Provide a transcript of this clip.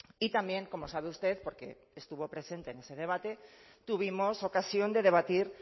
y también como sabe usted porque estuvo presente en ese debate tuvimos ocasión de debatir